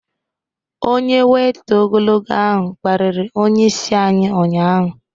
Onye weita ogologo ahụ kparịrị onyeisi anyị ụnyahụ